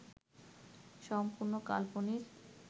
সম্পূর্ণ কাল্পনিক